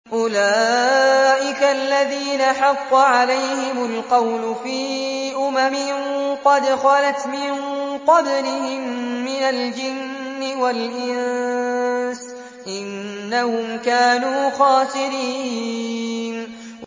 أُولَٰئِكَ الَّذِينَ حَقَّ عَلَيْهِمُ الْقَوْلُ فِي أُمَمٍ قَدْ خَلَتْ مِن قَبْلِهِم مِّنَ الْجِنِّ وَالْإِنسِ ۖ إِنَّهُمْ كَانُوا خَاسِرِينَ